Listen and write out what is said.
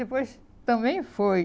Depois também foi.